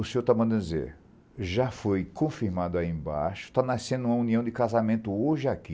O senhor está mandando dizer, já foi confirmado aí embaixo, está nascendo uma união de casamento hoje aqui.